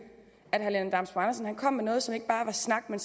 kom med noget som ikke bare var snak men